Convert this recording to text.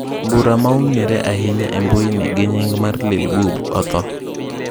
Mbura maong'eere ahinya e mbuyi gi nying mar Lil Bub othoo.